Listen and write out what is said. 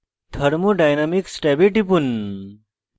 thermodynamics ট্যাবে টিপুন